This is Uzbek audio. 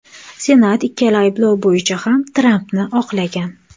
Senat ikkala ayblov bo‘yicha ham Trampni oqlagan .